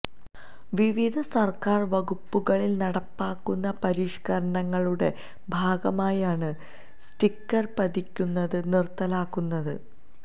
വിവിധ സര്ക്കാര് വകുപ്പുകളില് നടപ്പാക്കുന്ന പരിഷ്കരണങ്ങളുടെ ഭാഗമായാണ് സ്റ്റിക്കര് പതിക്കുന്നത് നിര്ത്തലാക്കുന്നത്